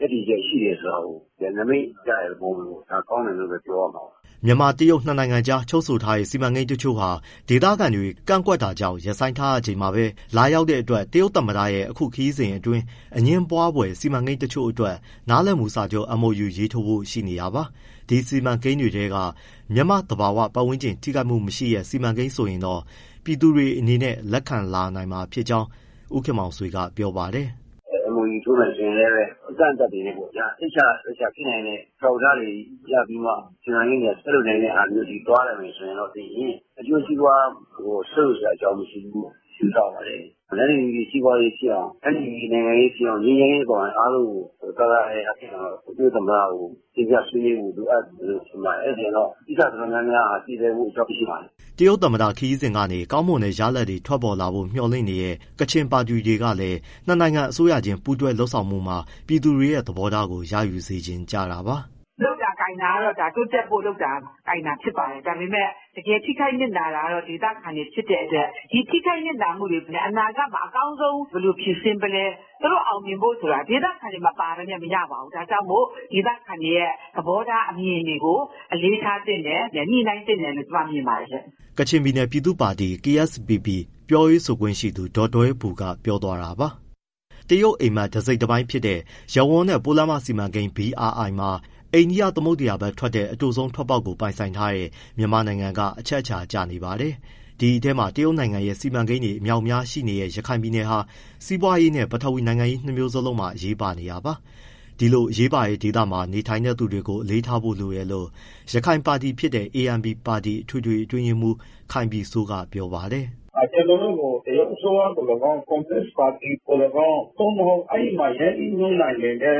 ရပ်တည်ချက်ရှိတယ်ဆိုတာကို နမိတ်ပြတဲ့သဘောမျိုးပေါ့။ ဒါကောင်းတယ်လို့ပဲ ပြောရမှာပါ။" မြန်မာ-တရုတ်နှစ်နိုင်ငံကြား ချုပ်ဆိုထားတဲ့ စီမံကိန်းတချို့ဟာ ဒေသခံတွေ ကန့်ကွက်တာကြောင့် ရပ်ဆိုင်းထားရ ချိန်မှာ ပဲ လာရောက်တဲ့ တရုတ်သမ္မတရဲ့ အခု ခရီးစဉ် အတွင်း အငြင်းပွားဖွယ် စီမံကိန်းတချို့အတွက် နားလည်မှုစာချုပ် MoU ရေးထိုးဖို့ရှိနေတာပါ။ ဒီစီမံကိန်းတွေထဲက မြန်မာ့ သဘာဝ ပတ်ဝန်းကျင်ထိခိုက်မှုမရှိတဲ့ စီမံကိန်းဆိုရင်တော့ ပြည်သူတွေအနေနဲ့ လက်ခံ လာနိုင်မှာ ဖြစ်ကြောင်းလည်း ဦးခင်မောင်ဆွေက ပြောပါတယ်။ “ MoU ထိုးမယ် ဆိုရင်လည်းပဲ အကန့်အသတ်တွေနဲ့ပေါ့ဗျာ၊ စိတ်ချလက်ချဖြစ်နိုင်တဲ့ အထောက်အထားတွေရပြီးမှ စီမံကိန်းတွေက ဆက်လုပ်မယ့်ဟာမျိုး သွားမယ်ဆိုရင် အကျိုးစီးပွား ဆုတ်ယုတ်စရာအကြောင်း မရှိဘူးလို့ ယူဆပါတယ်။ တန်းတူညီတူ စီးပွားရေးဖြစ်အောင်၊ တန်းတူ ညီတူ နိုင်ငံရေးဖြစ်အောင် ငြိမ်းချမ်းရေးအပါအဝင် အားလုံးကို သာသာယာယာဖြစ်အောင် တရုတ်သမ္မတကို တင်ပြဖို့လိုအပ်မယ် ထင်ပါတယ်။ အဲဒါဆိုရင် ကိစ္စအတော်များများဟာ ပြေလည်ဖို့ အကြောင်းရှိပါတယ်။” တရုတ်သမ္မတခရီးစဉ်က နေ ကောင်းမွန်တဲ့ရလာဒ်တွေ ထွက်ပေါ်လာဖို့ မျှော်လင့်နေတဲ့ ကချင်ပါတီတွေ ကလည်း ၂ နိုင်ငံ အစိုးရချင်း ပူးတွဲလုပ်ဆောင်မှုတွေမှာ ပြည်သူတွေရဲ့သဘောထားကို ရယူ စေချင် ကြတာပါ။ “ လုပ်တာကိုင်တာကတော့ တိုးတက်ဖို့လုပ်တာဖြစ်ပါတယ်။ ဒါပေမဲ့ တကယ်ထိခိုက်နစ်နာတာက ဒေသခံတွေ ဖြစ်တဲ့အတွက် ဒီထိခိုက်နစ်နာမှုတွေ အနာဂတ်မှာ အကောင်းဆုံး ဘယ်လိုဖြေရှင်းမလဲ သူတို့အောင်မြင်ဖို့ဆိုတာ ဒေသခံတွေ မပါဘဲနဲ့ မရပါဘူး။ ဒါကြောင့်မို့ ဒေသခံတွေရဲ့ သဘောထား မြင်တွေကို အလေးထားသင့်တယ်၊ ညှိနှိုင်းသင့်တယ်လို့ ကျမမြင်ပါတယ်။” ကချင်ပြည်နယ် ပြည်သူ့ပါတီ KSPP ပြောရေးဆိုခွင့်ရှိသူ ဒေါ်ဒွဲဘူက ပြောသွားတာပါ။ တရုတ်အိပ်မက် တစိတ်တပိုင်းဖြစ်တဲ့ ရပ်ဝန်းနဲ့ပိုးလမ်းမစီမံကိန်း BRI မှာ အိန္ဒိယသမုဒ္ဒရာဘက် ထွက်တဲ့ အတိုဆုံး ထွက်ပေါက်ကို ပိုင်ဆိုင်ထားတဲ့ မြန်မာနိုင်ငံက အချက်အချာ ကျ နေပါတယ်။ ဒီအထဲမှာ တရုတ်နိုင်ငံ ရဲ့ စီမံကိန်းတွေ အမြောက်အများရှိနေတဲ့ ရခိုင်ပြည်နယ်ဟာ စီးပွားရေးနဲ့ ပထဝီနိုင်ငံရေး နှစ်မျိုးလုံး အရေးပါနေတာပါ။ ဒီလို အရေးပါတဲ့ ဒေသမှာ နေထိုင်သူတွေ ကို အလေးထားဖို့ လိုတယ်လို့ ရခိုင်ပါတီဖြစ်တဲ့ ANP ပါတီ အထွေထွေအတွင်းရေးမှူး ခိုင်ပြည်စိုးက ပြောပါတယ်။ “ ကျနော်တို့ကို တရုတ်အစိုးရသော်လည်းကောင်း၊ ကွန်မြူနစ်ပါတီပါတီသော်လည်းကောင်း သို့မဟုတ် အဲဒီမှာ ရင်းနှီးမြှုပ်နှံနေတဲ့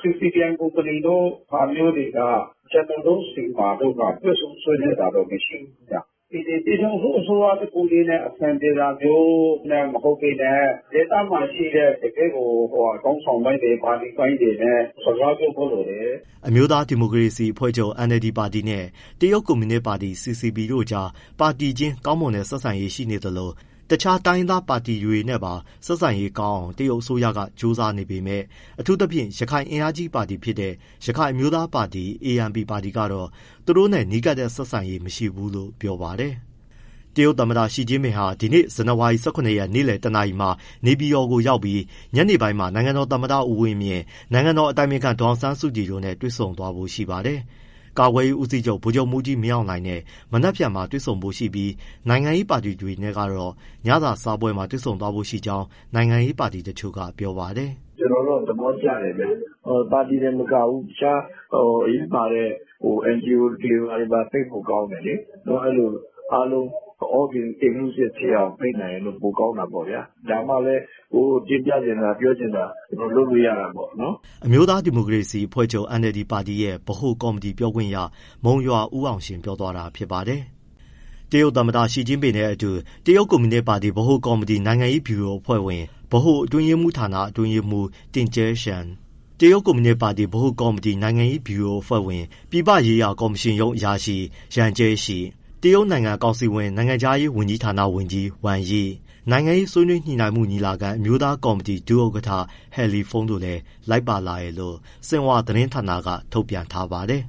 CITIC ကုမ္ပဏီဟာမျိုးတွေ ကျနော်တို့ဆီမှာ တွေ့ဆုံဆွေးနွေးတာမရှိဘူး။ ပြည်ထောင်စု အစိုးရတခုတည်းနဲ့ အဆင်ပြေတာမျိုး မဟုတ်ဘဲနဲ့ ဒေသမှာရှိတဲ့ ခေါင်းဆောင်ပိုင်းတွေ၊ ပါတီပိုင်းတွေနဲ့ စကားပြောဖို့လိုတယ်။” အမျိုးသားဒီမိုကရေစီအဖွဲ့ချုပ် NLD ပါတီနဲ့ တရုတ်ကွန်မြူနစ်ပါတီ CCP တို့ကြား ပါတီချင်း ကောင်းမွန်တဲ့ ဆက်ဆံရေး ရှိနေသလို တခြား တိုင်းရင်းသား ပါတီတွေနဲ့ပါ ဆက်ဆံရေး ကောင်းအောင် တရုတ် အစိုးရက ကြိုးစားနေပေမယ့် အထူးသဖြင့် ရခိုင်အင်အားကြီးပါတီဖြစ်တဲ့ ရခိုင်အမျိုးသားပါတီ ANP ပါတီ ကတော့ သူတို့နဲ့ နီးကပ်တဲ့ ဆက်ဆံရေးမရှိဘူးလို့ ပြောပါတယ်။ တရုတ်သမ္မတရှီကျင့်ပင်ဟာ ဒီနေ့ ဇန်နဝါရီ ၁၇ရက် နေ့လည် ၁နာရီမှာ နေပြည်တော်ကိုရောက်ပြီး ညနေပိုင်းမှာ နိုင်ငံတော်သမ္မတဦးဝင်းမြင့် ၊ နိုင်ငံတော်အတိုင်ပင်ခံ ဒေါ်အောင်ဆန်းစုကြည် တို့နဲ့တွေဆုံဖို့ရှိပါတယ်။ ကာကွယ်ရေးဦးစီးချုပ် ဗိုလ်ချုပ်မှူးကြီးမင်းအောင်လှိုင်နဲ့ မနက်ဖြန်တွေ့ဆုံဖို့ရှိပြီး နိုင်ငံရေးပါတီတွေနဲ့ တော့ ညစာစားပွဲမှာတွေ့ဆုံဖို့ရှိကြောင်း နိုင်ငံရေးပါတီ တချို့ကပြောပါတယ်။ “ ကျနော်တော့ သဘောကျတယ်ဗျ။ ပါတီတင်မကဘူး တခြားအရေးပါတဲ့ NGO တွေပါ ဖိတ်ဖို့ကောင်းတယ်လေ။ နော် အဲဒီလိုအားလုံး all inclusive ဖြစ်အောင် ဖိတ်နိုင်ရင်တော့ ပိုကောင်းတာပေါ့ဗျာ။ ဒါမှလည်း ကိုယ်တင်ပြချင်တာ ပြောချင်တာ လုပ်လို့ရတာပေါ့။” အမျိုးသား ဒီမိုကရေစီအဖွဲ့ချုပ် NLD ပါတီရဲ့ ဗဟိုကော်မတီ ပြောခွင့်ရ မုံရွာဦးအောင်ရှင် ပြောသွားတာ ဖြစ်ပါတယ်။ တရုတ်သမ္မတရှီကျင့်ပင်နဲ့အတူ တရုတ်ကွန်မြူနစ်ပါတီ ဗဟိုကော်မတီ နိုင်ငံရေးဗျူရိုအဖွဲ့ဝင်၊ ဗဟိုအတွင်းရေးမှူးဌာန အတွင်းရေးမှူး Ding Xuexiang, တရုတ်ကွန်မြူနစ်ပါတီ ဗဟိုကော်မတီ နိုင်ငံရေး ဗျူရိုအဖွဲ့ဝင် ပြည်ပရေးရာကော်မရှင်ရုံး အရာရှိ Yang Jiechi ၊ တရုတ်နိုင်ငံကောင်စီဝင် နိုင်ငံခြားရေး ဝန်ကြီးဌာနဝန်ကြီး Wang Yi၊ နိုင်ငံရေး ဆွေးနွေးညှိနှိုင်းမှုညီလာခံ အမျိုးသားကော်မတီဒုဥက္ကဋ္ဌ He Lifeng တို့လည်း လိုက်ပါလာတယ်လို့ ဆင်ဟွာသတင်းဌာနက ထုတ်ပြန်ထားပါတယ်။